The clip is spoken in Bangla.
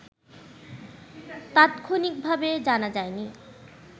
তাৎক্ষণিকভাবে জানা যায়নি